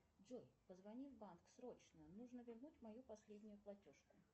джой позвони в банк срочно нужно вернуть мою последнюю платежку